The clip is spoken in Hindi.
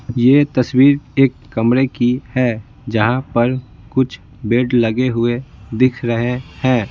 यह तस्वीर एक कमरे की है जहां पर कुछ बेड लगे हुए दिख रहे हैं।